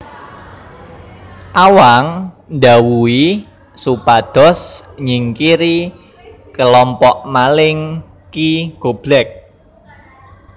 Awang ndhawuhi supados nyingkiri kalompok maling Ki Goblek